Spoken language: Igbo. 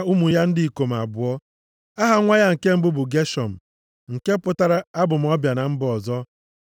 na ụmụ ya ndị ikom abụọ. Aha nwa ya nke mbụ bụ Geshọm, nke pụtara, abụ m ọbịa na mba ọzọ.